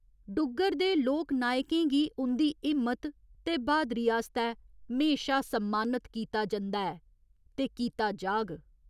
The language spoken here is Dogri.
डुग्गर दे लोकनायकें गी उं'दी हिम्मत ते ब्हादरी आस्तै म्हेशा सम्मानत कीता जंदा ऐ ते कीता जाह्ग।